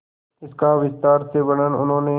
इसका विस्तार से वर्णन उन्होंने